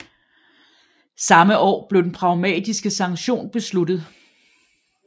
Samme år blev den Pragmatiske Sanktion besluttet